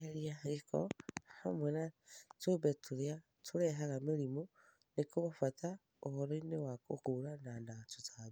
Kweheria gĩko hamwe na tũũmbe tũrĩa tũrehaga mĩrimũ nĩ kwa bata mũno ũhoro-inĩ wa kũhũrana na tũtambi.